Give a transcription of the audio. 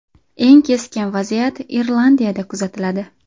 Eng keskin vaziyat Irlandiyada kuzatiladi.